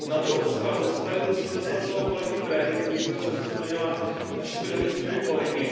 Na druhou stranu se tady musím zastat svého kolegy Predy, který byl často zmiňován našimi levicovými kolegy.